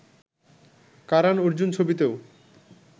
Karan Arjun ছবিতেও